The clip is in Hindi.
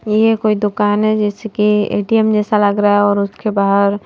ये कोई दुकान हैजैसे कि एटीएम जैसा लग रहा हैऔर उसके बाहर।